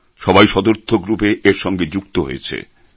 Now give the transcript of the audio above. সবাই সদর্থক রূপে এর সঙ্গে যুক্ত হয়েছে